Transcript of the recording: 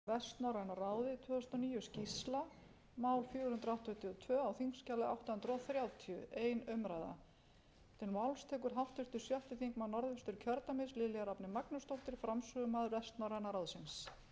virðulegi forseti ég mæli hér fyrir skýrslu íslandsdeildar vestnorræna ráðsins fyrir árið tvö þúsund og níu það sem bar hæst í starfi vestnorræna ráðsins á árinu var einkum fernt í